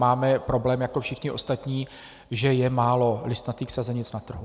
Máme problém jako všichni ostatní, že je málo listnatých sazenic na trhu.